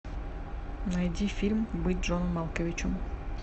найди фильм быть джоном малковичем